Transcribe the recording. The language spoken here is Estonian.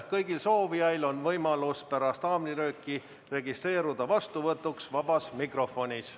Kõigil soovijail on võimalus pärast haamrilööki registreeruda sõnavõtuks vabas mikrofonis.